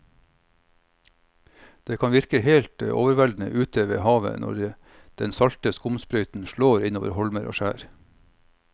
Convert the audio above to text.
Det kan virke helt overveldende ute ved havet når den salte skumsprøyten slår innover holmer og skjær.